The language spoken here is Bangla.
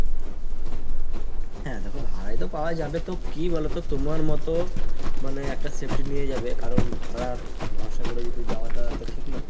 হ্যাঁ দ্যাখো ভাড়ায় তো পাওয়া যাবে তো কি বলোতো তোমার মতো মানে একটা safety নিয়ে যাবে কারণ ভাড়ার ভরসা করে তো যাওয়াটা তো ঠিক না।